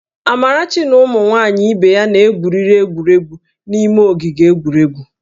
Amarachi na ụmụ nwaanyị ibe ya na-gwuriri egwuregwu n'ime ogige egwuregwu